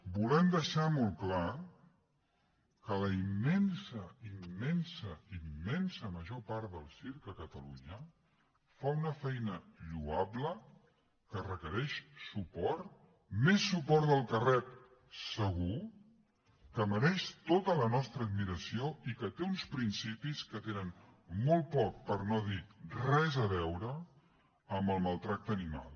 volem deixar molt clar que la immensa immensa immensa major part del circ a catalunya fa una feina lloable que requereix suport més suport del que rep segur que mereix tota la nostra admiració i que té uns principis que tenen molt poc per no dir res a veure amb el maltractament animal